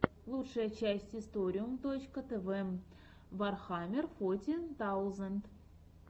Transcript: лучшая часть историум точка тв вархаммер фоти таузенд